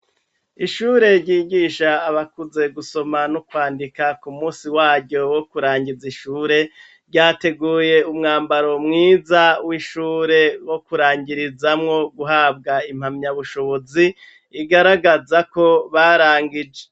Ishure ryigisha abakuze gusoma no kwandika ku munsi waryo wo kurangiza ishure, ryateguye umwambaro mwiza w'ishure wo kurangirizamwo guhabwa impamyabushobozi igaragaza ko barangije.